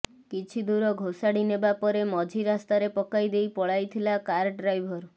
କିଛି ଦୂର ଘୋଷାଡି ନେବା ପରେ ମଝି ରାସ୍ତାରେ ପକାଇ ଦେଇ ପଳାଇଥିଲା କାର୍ ଡ୍ରାଇଭର୍